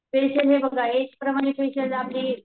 facial